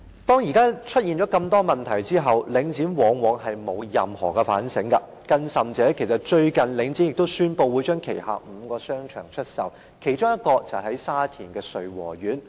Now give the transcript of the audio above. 當現在出現如此多問題後，領展往往不作反省，更甚者，最近領展宣布會將旗下5個商場出售，其中一個位於沙田穗禾苑。